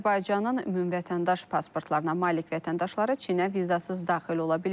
Artıq Azərbaycanın ümumvətəndaş pasportlarına malik vətəndaşları Çinə vizasız daxil ola biləcək.